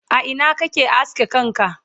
a Ina kake aske kanka?